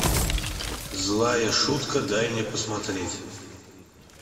злая шутка дай мне посмотреть